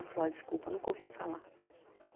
Eu falei, Oh, desculpa, nunca ouvi falar.